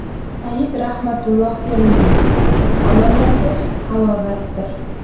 Sayyid Rahmatulloh Termiziy: Halol yashash halovatdir.